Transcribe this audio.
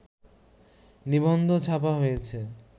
নিবন্ধ ছাপা হয়েছে